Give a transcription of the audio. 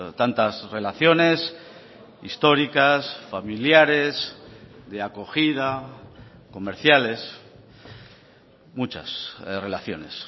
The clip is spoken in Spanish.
tantas relaciones históricas familiares de acogida comerciales muchas relaciones